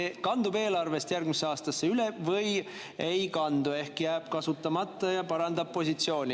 Kas see kandub eelarvest järgmisse aastasse üle või ei kandu ehk jääb kasutamata ja parandab positsiooni?